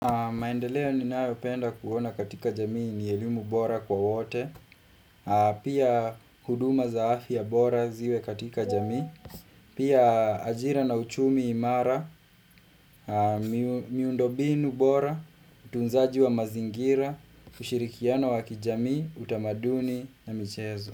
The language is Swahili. Maendeleo ninayopenda kuona katika jamii ni elimu bora kwa wote pia huduma za afya bora ziwe katika jamii pia ajira na uchumi imara miundo mbinu bora utunzaji wa mazingira ushirikiano wa kijamii utamaduni na michezo.